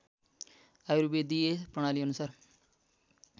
आयुर्वेदीय प्रणाली अनुसार